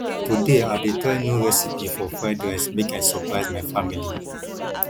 today i dey try new recipe for fried rice make i surprise my family